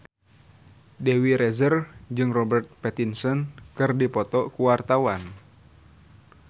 Dewi Rezer jeung Robert Pattinson keur dipoto ku wartawan